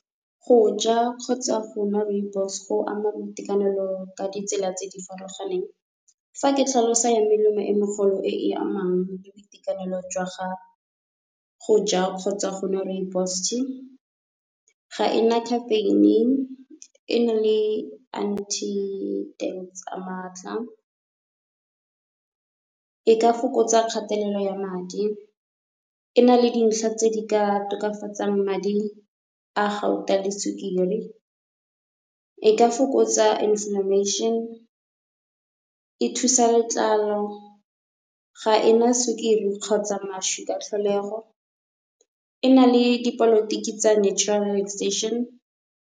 Go ja kgotsa go nwa Rooibos go ama boitekanelo ka ditsela tse di farologaneng. Fa ke tlhalosa ya melemo e megolo e e amang le boitekanelo jwa , go ja kgotsa go nwa Rooibos tea ga ena caffeine, e na le anti tsa matla. E ka fokotsa kgatelelo ya madi, e na le dintlha tse di ka tokafatsang madi a gauta le sukiri, e ka fokotsa inflamation, e thusa letlalo, ga ena sukiri kgotsa mašwi ka tlholego, e na le dipolotiki tsa natural .